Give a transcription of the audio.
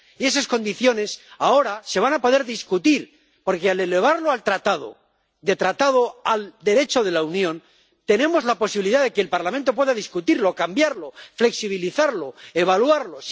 Y esas condiciones, ahora, se van a poder discutir porque, al incorporar el Tratado al Derecho de la Unión, tenemos la posibilidad de que el Parlamento pueda discutirlo, cambiarlo, flexibilizarlo, evaluarlo.